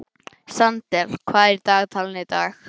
Sandel, hvað er í dagatalinu í dag?